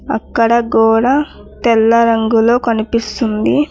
అక్కడ గోడ తెల్ల రంగులో కనిపిస్తుంది